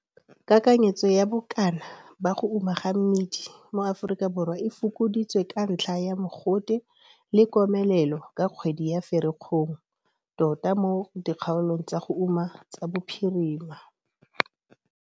Kakanyetso ya bokana ba go uma ga mmidi mo Afrikaborwa e fokoditswe ka ntlha ya mogote le komelelo ka kgwedi ya Ferikgong, tota mo dikgaolong tsa go uma tsa bophirima.